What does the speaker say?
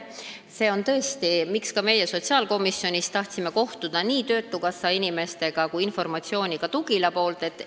See on tõesti põhjus, miks me tahtsime sotsiaalkomisjonis kohtuda nii töötukassa inimestega kui ka saada Tugilalt informatsiooni.